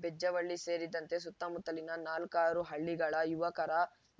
ಬೆಜ್ಜವಳ್ಳಿ ಸೇರಿದಂತೆ ಸುತ್ತಮುತ್ತಲಿನ ನಾಲ್ಕಾರು ಹಳ್ಳಿಗಳ ಯುವಕರ